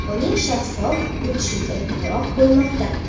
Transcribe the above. uning shaffof o‘tishiga guvoh bo‘lmoqda.